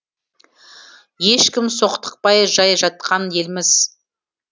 ешкім соқтықпай жай жатқан елміз